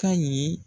Ka ɲi